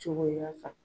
Cogoya kan